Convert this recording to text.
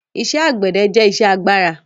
Iṣẹ́ àgbẹ̀dẹ jẹ́ iṣẹ́ agbára